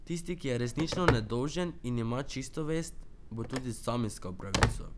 Tisti, ki je resnično nedolžen in ima čisto vest, bo tudi sam iskal pravico!